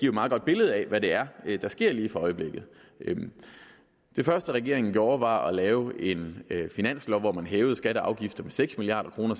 et meget godt billede af hvad det er der sker i øjeblikket det første regeringen gjorde var at lave en finanslov hvor man hævede skatter og afgifter med seks milliard kroner